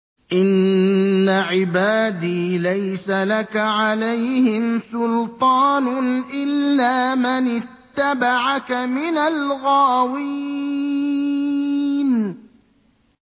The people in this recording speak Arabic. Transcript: إِنَّ عِبَادِي لَيْسَ لَكَ عَلَيْهِمْ سُلْطَانٌ إِلَّا مَنِ اتَّبَعَكَ مِنَ الْغَاوِينَ